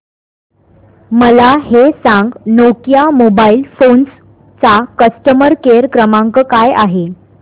मला हे सांग नोकिया मोबाईल फोन्स चा कस्टमर केअर क्रमांक काय आहे